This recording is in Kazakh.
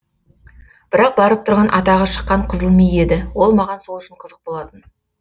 бірақ барып тұрған атағы шыққан қызыл ми еді ол маған сол үшін қызық болатын